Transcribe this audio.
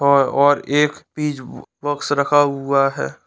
और और एक पिज बॉक्स रखा हुआ है।